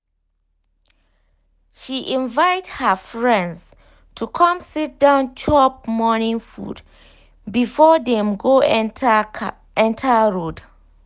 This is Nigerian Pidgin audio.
she invite her friends to come sit down chop morning food before them go enter road